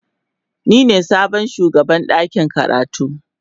Ni ne sabon shugaban dakin karatu.